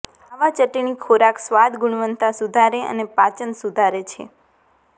આવા ચટણી ખોરાક સ્વાદ ગુણવત્તા સુધારે અને પાચન સુધારે છે